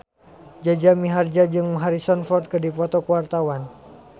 Jaja Mihardja jeung Harrison Ford keur dipoto ku wartawan